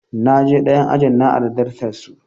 Na je ɗayan ajin na ari dastar su.